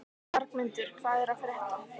Bjargmundur, hvað er að frétta?